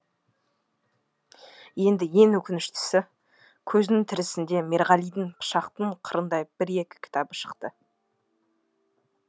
енді ең өкініштісі көзінің тірісінде мерғалидің пышақтың қырындай бір екі кітабы шықты